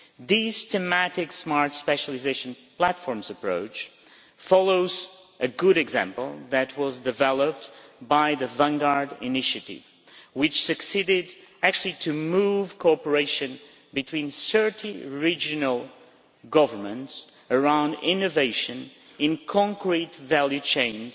This thematic smart specialisation platforms approach follows a good example that was developed by the Vanguard Initiative, which succeeded actually to move cooperation between 30 regional governments around innovation in concrete value chains